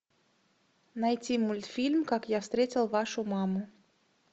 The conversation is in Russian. найти мультфильм как я встретил вашу маму